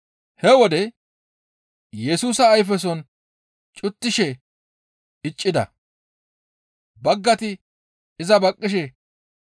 He wode Yesusa ayfeson cuttishe iza iccida; baggayti iza baqqishe,